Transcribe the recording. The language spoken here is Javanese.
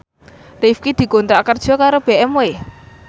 Rifqi dikontrak kerja karo BMW